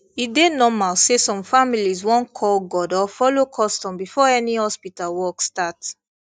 e dey normal say some families wan call god or follow custom before any hospital work start